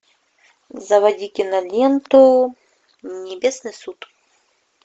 заводи киноленту небесный суд